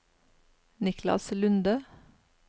Niklas Lunde